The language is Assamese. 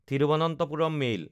থিৰুভনন্থপুৰম মেইল